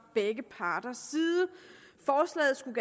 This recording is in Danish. begge parters side forslaget skulle